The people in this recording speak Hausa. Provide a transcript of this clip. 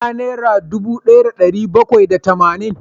Ina naira dubu daya da dari bakwai da tamanin?